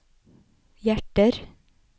hjerter